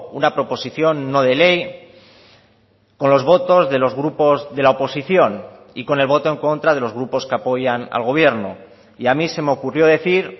una proposición no de ley con los votos de los grupos de la oposición y con el voto en contra de los grupos que apoyan al gobierno y a mí se me ocurrió decir